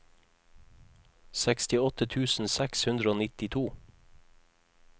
sekstiåtte tusen seks hundre og nittito